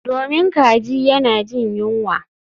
Domin kaji yana jin yunwa